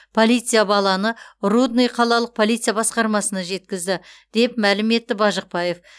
полиция баланы рудный қалалық полиция басқармасына жеткізді деп мәлім етті бажықбаев